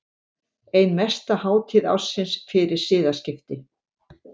Ein mesta hátíð ársins fyrir siðaskipti.